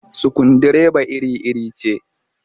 Sukundireba iri-iri ce